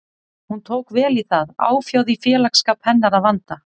Hún tók vel í það, áfjáð í félagsskap hennar að vanda.